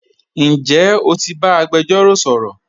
Njẹ́ o ti ba agbẹ̀jọ̀ro sọ̀rọ̀?